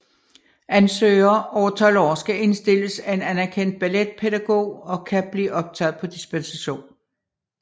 Ansøgere over 12 år skal indstilles af en anerkendt balletpædagog og kan blive optaget på dispensation